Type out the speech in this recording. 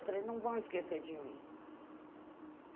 Eu falei, não vão esquecer de mim.